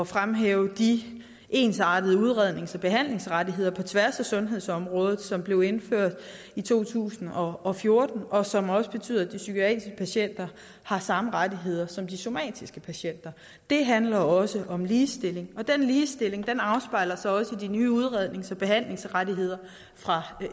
fremhæve de ensartede udrednings og behandlingsrettigheder på tværs af sundhedsområdet som blev indført i to tusind og og fjorten og som også betyder at de psykiatriske patienter har samme rettigheder som de somatiske patienter det handler også om ligestilling og den ligestilling afspejler sig også i de nye udrednings og behandlingsrettigheder fra